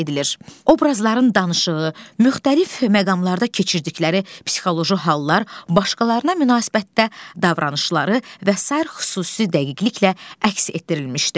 Obrazların danışığı, müxtəlif məqamlarda keçirdikləri psixoloji hallar, başqalarına münasibətdə davranışları və sair xüsusi dəqiqliklə əks etdirilmişdir.